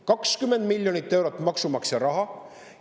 20 miljonit eurot maksumaksja raha!